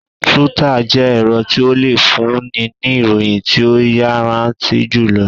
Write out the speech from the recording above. Túítà jẹ́ ẹ̀rọ tí o le fún ni ní ìròyìn tí o yanraanti julo